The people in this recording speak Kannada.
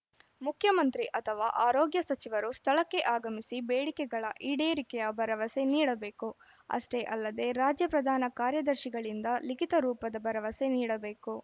ಮುಖ್ಯಮಂತ್ರಿ ಅಥವಾ ಆರೋಗ್ಯ ಸಚಿವರು ಸ್ಥಳಕ್ಕೆ ಆಗಮಿಸಿ ಬೇಡಿಕೆಗಳ ಈಡೇರಿಕೆಯ ಭರವಸೆ ನೀಡಬೇಕು ಅಷ್ಟೇ ಅಲ್ಲದೆ ರಾಜ್ಯ ಪ್ರಧಾನ ಕಾರ್ಯದರ್ಶಿಗಳಿಂದ ಲಿಖಿತ ರೂಪದ ಭರವಸೆ ನೀಡಬೇಕು